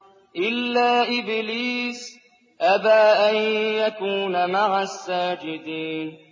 إِلَّا إِبْلِيسَ أَبَىٰ أَن يَكُونَ مَعَ السَّاجِدِينَ